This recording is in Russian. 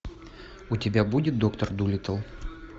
у тебя будет доктор дулиттл